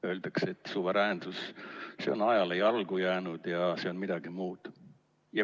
Öeldakse, et suveräänsus on ajale jalgu jäänud ja see on midagi muud.